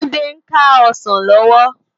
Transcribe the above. Tunde n ká òsán lòwò